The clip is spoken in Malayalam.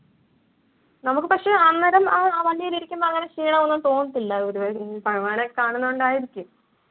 നമ്മുക്ക് പക്ഷെ അന്നേരം ആ വണ്ടിയിലിരിക്കുന്ന അങ്ങനെ ക്ഷീണം ഒന്നും തോന്നത്തില്ല. ഭഗവാനൊക്കെ കാണുന്നത് കൊണ്ടായിരിക്കും.